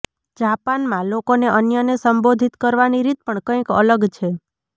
જાપાનમાં લોકોને અન્યને સંબોધિત કરવાની રીત પણ કઈક અલગ છે